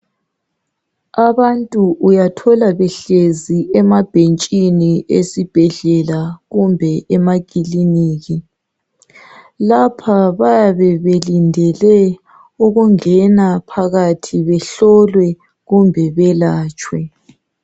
Abantu uyathola behlezi emabhentshini esibhedlela kumbe emakiliniki. Lapha bayabe belindele ukungena phakathi behlolwe kumbe belatshwe.